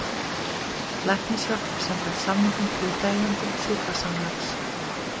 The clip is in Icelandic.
Læknishjálp samkvæmt samningum hlutaðeigandi sjúkrasamlags.